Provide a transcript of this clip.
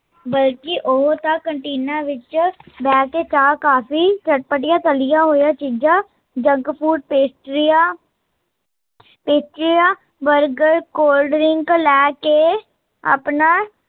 ਬਲਕਿ ਉਹ ਤਾਂ ਕਨਟੀਨਾ ਵਿੱਚ ਬਹਿ ਕੇ ਚਾਹ ਕਾਫੀ ਤੇ ਚਟਪਟੀਆਂ ਤਲੀਂਆ ਹੋਈਆ ਚੀਜ਼ਾਂ, ਜੰਕ ਫੂਡ, ਪੇਸਟ੍ਰੀਆ ਪੇਸਟ੍ਰੀਆ ਲੈ ਕੇ ਆਪਣਾ